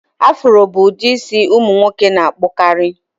Afro bụ ụdị isi ụmụ nwoke na-akpụkarị